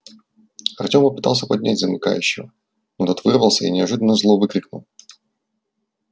артем попытался поднять замыкающего но тот вырвался и неожиданно зло выкрикнул